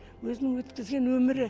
өзінің өткізген өмірі